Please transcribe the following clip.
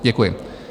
Děkuji.